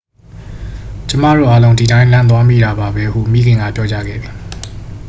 """ကျွန်မတို့အားလုံး ဒီအတိုင်း လန့်သွားမိတာပါပဲ၊""ဟု မိခင်က ပြောကြားခဲ့သည်။